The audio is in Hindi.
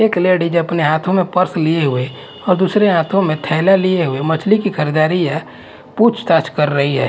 एक लेडिस अपने हाथों में पर्स लिए हुए और दूसरे हाथों में थैला लिए हुए मछली की खरीदारी या पूछताछ कर रही है।